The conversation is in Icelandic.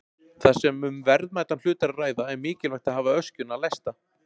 Þar sem um verðmætan hlut er að ræða er mikilvægt að hafa öskjuna læsta.